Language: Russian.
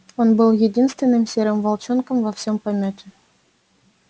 он был единственным серым волчонком во всем помёте